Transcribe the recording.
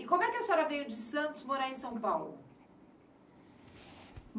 E como é que a senhora veio de Santos morar em São Paulo?